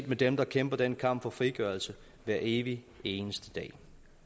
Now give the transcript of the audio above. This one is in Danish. med dem der kæmper denne kamp for frigørelse hver evig eneste dag